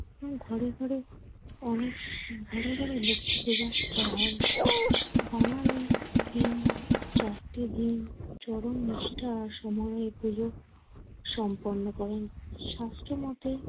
ঘরে ঘরে অনেক ঘন ঘন লক্ষ্মী পূজা করা হয়। বাঙালির এই চারটি দিন চরম নিষ্ঠা আর সময়ে এ পুজো সম্পন্ন করেন। শাস্ত্র মতে,